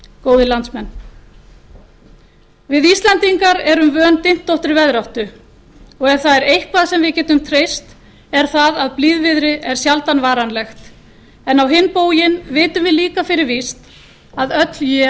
góðir landsmenn við íslendingar erum vön dyntóttri veðráttu og ef það er eitthvað sem við getum treyst er það að blíðviðri er sjaldan varanlegt á hinn bóginn vitum við líka fyrir víst að öll él